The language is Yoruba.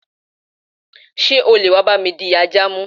Sé o leè wa bá mi di ajà mu?